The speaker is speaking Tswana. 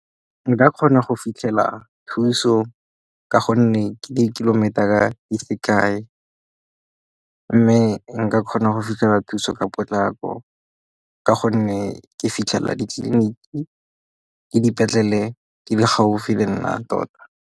Nka kgona go fitlhela thuso ka gonne di kilometer ka di sekai mme nka kgona go fitlhela thuso ka potlako ka gonne ke fitlhelela ditleliniki le dipetlele di gaufi le nna tota.